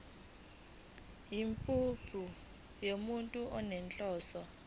yimuphi umuntu onenhloso